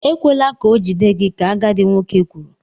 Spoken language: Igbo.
Ekwela ka ọ jide gị! ka agadi nwoke kwuru.